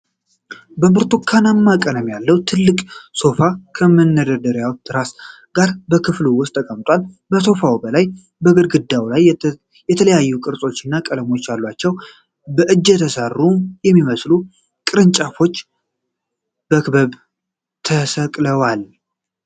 ብርቱካናማ ቀለም ያለው ትልቅ ሶፋ ከነመደገፊያ ትራስ ጋር በክፍሉ ውስጥ ተቀምጧል። ከሶፋው በላይ በግድግዳው ላይ የተለያዩ ቅርጾችና ቀለሞች ያሏቸው በእጅ የተሰሩ የሚመስሉ ቅርጫቶች በክበብ ተሰቅለዋል።